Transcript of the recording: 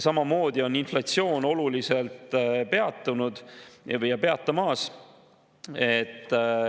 Samamoodi on inflatsioon oluliselt peatumas.